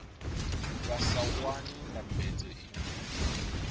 vha sa wani ndambedzo iṅwe